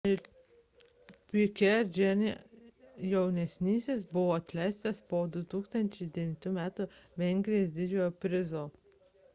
piquet jr buvo atleistas po 2009 m vengrijos didžiojo prizo